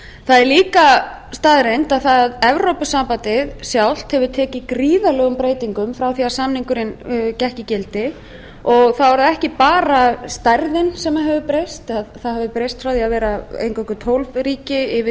það er líka staðreynd að evrópusambandið sjálft hefur tekið gríðarlegum breytingum frá því að samningurinn gekk í gildi og þá er það ekki bara stærðin sem hefur breyst það hefur breyst frá því að vera eingöngu tólf ríki yfir í